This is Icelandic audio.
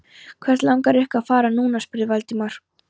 Hvert langar ykkur að fara núna? spurði Valdimar.